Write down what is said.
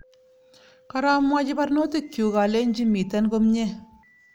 Koromwochi barnotikyuk alenchi mitten komie